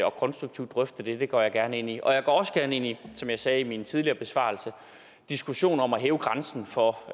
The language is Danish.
og konstruktivt drøfte det det går jeg gerne ind i jeg går også gerne ind i som jeg sagde i min tidligere besvarelse diskussionen om at hæve grænsen for